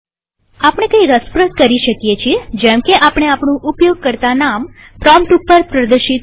આપણે કઈ રસપ્રદ કરી શકીએજેમકે આપણે આપણું ઉપયોગકર્તા નામ પ્રોમ્પ્ટ ઉપર પ્રદર્શિત કરી શકીએ